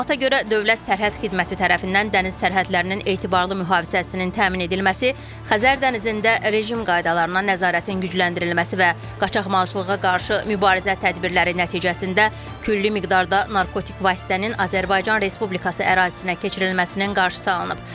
Məlumata görə, Dövlət Sərhəd Xidməti tərəfindən dəniz sərhədlərinin etibarlı mühafizəsinin təmin edilməsi, Xəzər dənizində rejim qaydalarına nəzarətin gücləndirilməsi və qaçaqmalçılığa qarşı mübarizə tədbirləri nəticəsində külli miqdarda narkotik vasitənin Azərbaycan Respublikası ərazisinə keçirilməsinin qarşısı alınıb.